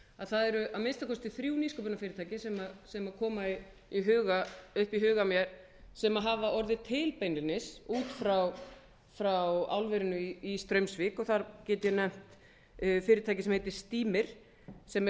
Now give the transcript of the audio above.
það eru að minnsta kosti þrjú nýsköpunarfyrirtæki sem koma upp í huga mér sem hafa orðið til beinlínis út frá álverinu í straumsvík og þar get ég nefnt fyrirtæki sem heitir stímir sem er